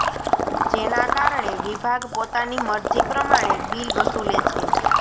જેના કારણે વિભાગ પોતાની મરજી પ્રમાણે બિલ વસૂલે છે